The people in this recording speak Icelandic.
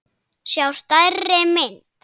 sjá stærri mynd.